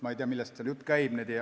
Ma ei tea, millest jutt käib.